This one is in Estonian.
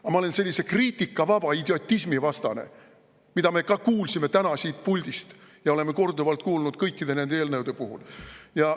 Aga ma olen vastu sellisele kriitikavabale idiotismile, mida me ka kuulsime täna siit puldist ja oleme korduvalt kuulnud kõikide nende eelnõude puhul.